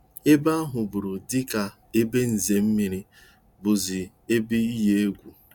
Ebe ahụburu dịka ebe nzere mmiri bụzị ebe n-eyi egwu.